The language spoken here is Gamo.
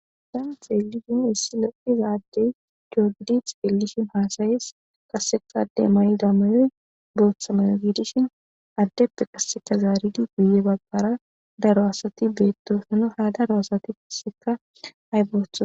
Daan xeelishin issi loqizaaddey cogidit eelishin haasayees kasseka adde mani damayoy booththamayo gidishin addeppe qasseka zaaridi guye baggara daro asati beettosano ha daro asati paseka ay boothoa